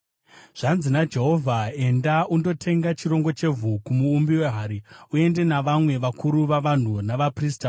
Zvanzi naJehovha: “Enda undotenga chirongo chevhu kumuumbi wehari. Uende navamwe vakuru vavanhu navaprista.